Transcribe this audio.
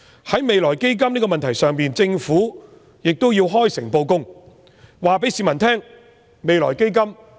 在未來基金的問題上，政府亦要開誠布公，告訴市民如何運用未來基金。